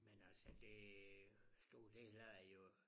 Men altså det stået helt af i øh